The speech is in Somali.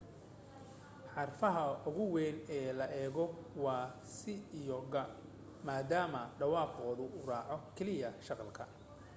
xarfaha ugu weyn ee la eego waa c iyo g maadaamo dhawaaqooda uu raaco keliya shaqalka